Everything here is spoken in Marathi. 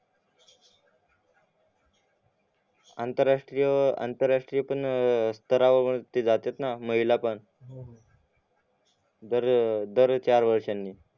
अंतरराष्ट्रीय अं अंतर्राष्ट्रीय पण अं तरावरती जात्यात ना महिला पण दर चार वर्ष्यानी